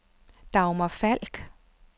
Dagmar Falk